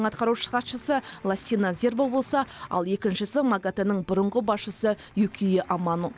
атқарушы хатшысы лассина зербо болса ал екіншісі магатэ нің бұрынғы басшысы юкия амано